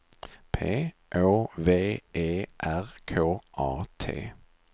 P Å V E R K A T